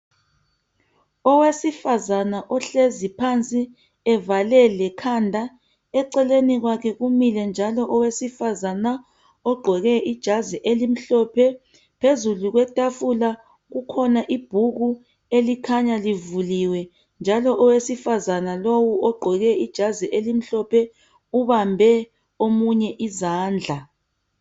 owesifazana ohlezi phansi evale lekhanda eceleni kwakhe kumile njalo owesifazana ogqoke ijazi elimhlophe phezulu kwetafula kukhona ibhuku elikhanya livuliwe njalo owesifazana lowu ogqoke ijazi elimhlophe ubambe omunye izandla